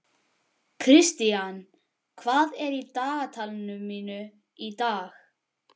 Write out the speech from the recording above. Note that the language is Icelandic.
Kristian, hvað er í dagatalinu mínu í dag?